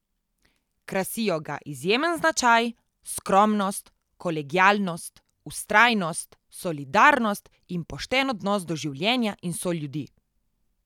Krasijo ga izjemen značaj, skromnost, kolegialnost, vztrajnost, solidarnost in pošten odnos do življenja in soljudi.